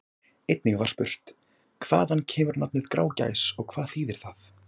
Einnig var spurt: Hvaðan kemur nafnið Grágás og hvað þýðir það?